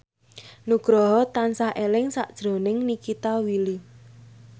Nugroho tansah eling sakjroning Nikita Willy